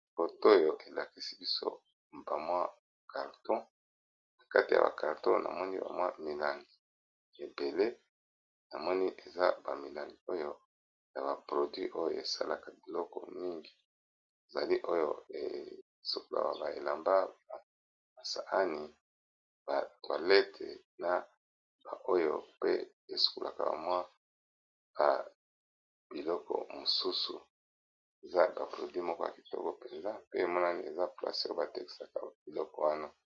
Foto oyo elakisi biso bamwa carton na kati ya ba carton na moni bamwa milangi ebele , na moni eza bamilangi oyo ya ba produit oyo esalaka biloko mingi ezali oyo Esukulaka ba elamba , basani, ba mallette ,na oyo biloko pe Esukulaka bamwa ba biloko mosusu eza ba produit moko ya kitoko mpenza pe emonani eza placer batekisaka biloko wana